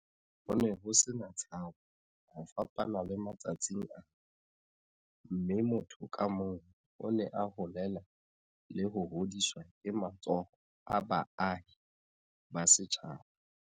Ho ne ho se na tshabo, ho fapana le matsatsing ana, mme motho ka mong o ne a holela le ho hodiswa ke matsoho a baahi ba setjhaba.